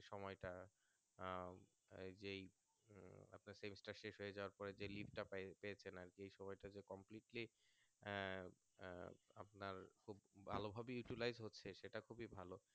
সময়টা আহ যেই আহ আপনার semester শেষ হয়ে যাবার পরে যেই leave টা পাই যে সময় টুকু completely আহ আহ খুব ভাল ভাবে Utilise হচ্ছে সেটা খুবই ভালো